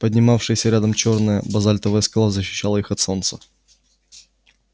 поднимавшаяся рядом чёрная базальтовая скала защищала их от солнца